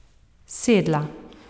Sedla.